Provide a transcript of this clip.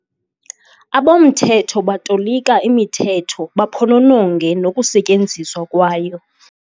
Abomthetho batolika imithetho baphonononge nokusetyenziswa kwayo.